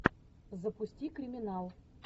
запусти криминал